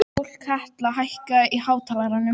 Sólkatla, hækkaðu í hátalaranum.